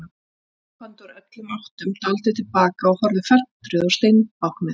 Þau komu labbandi úr öllum áttum, dáldið til baka og horfðu felmtruð á steinbáknið.